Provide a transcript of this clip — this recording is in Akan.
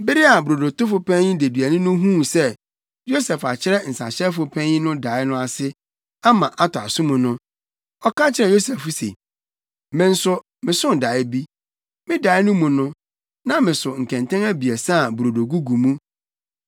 Bere a brodotofo panyin deduani no huu sɛ Yosef akyerɛ nsahyɛfo panyin no dae no ase, ama atɔ asom no, ɔka kyerɛɛ Yosef se, “Me nso, mesoo dae bi. Me dae no mu no, na meso nkɛntɛn abiɛsa a brodo gugu mu.